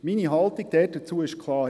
Meine Haltung dazu ist klar: